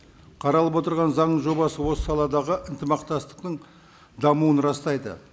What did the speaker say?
қаралып отырған заң жобасы осы саладағы ынтымақтастықтың дамуын растайды